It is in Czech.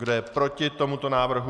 Kdo je proti tomuto návrhu?